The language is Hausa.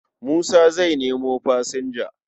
Musa zai nemo fasinja.